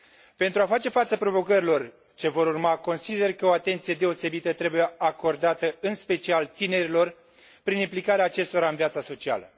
Pentru a face față provocărilor ce vor urma, consider că o atenție deosebită trebuie acordată în special tinerilor, prin implicarea acestora în viața socială.